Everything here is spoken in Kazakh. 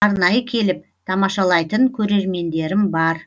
арнайы келіп тамашалайтын көрермендерім бар